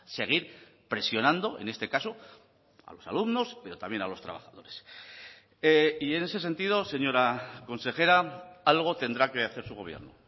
seguir presionando en este caso a los alumnos pero también a los trabajadores y en ese sentido señora consejera algo tendrá que hacer su gobierno